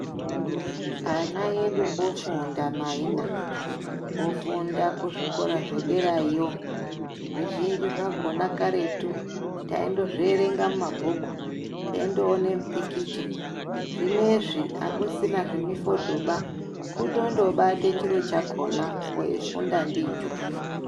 Ana edu ofunda maina. Ofunda kuzvikora zvederayo. Zvizvinji zvakhona karetu taindozvierenga mumabhuku teindoona mipikicha. Zvinezve akusina zvemifodhoba. Kutondobata chiro chakhona weifunda ndicho.